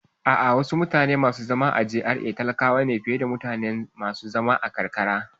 A'a, wasu mutane masu zaman GRA talakawa ne fiye da masu zaman karkara